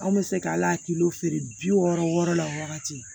Anw bɛ se ka ala kilo feere bi wɔɔrɔ wɔɔrɔ la o wagati